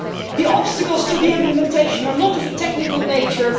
The obstacles to implementation are not of a technical nature